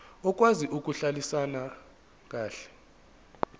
okwazi ukuhlalisana kahle